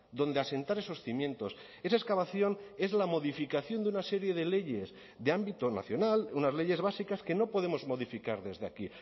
donde asentar esos cimientos esa excavación es la modificación de una serie de leyes de ámbito nacional unas leyes básicas que no podemos modificar desde aquí